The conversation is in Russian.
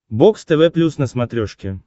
бокс тв плюс на смотрешке